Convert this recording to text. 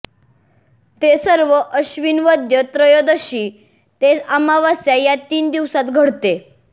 ते सर्व आश्विन वद्य त्रयोदशी ते अमावास्या या तीन दिवसांत घडले